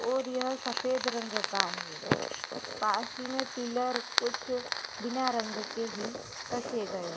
और यह सफ़ेद रंग का है। पास ही में पिलर कुछ बिना रंग के ही रखे गये हैं।